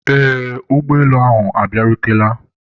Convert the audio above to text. eee, ụgbọelu ahụ abịarutela